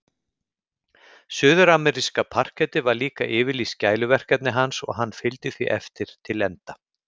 Suðurameríska parkettið var líka yfirlýst gæluverkefni hans og hann fylgdi því eftir til enda.